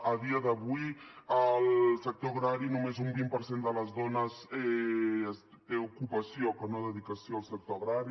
a dia d’avui al sector agrari només un vint per cent de les dones té ocupació que no dedicació al sector agrari